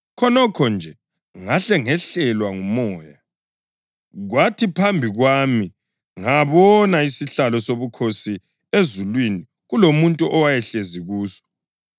Khonokho nje ngahle ngehlelwa nguMoya, kwathi phambi kwami ngabona isihlalo sobukhosi ezulwini kulomuntu owayehlezi kuso.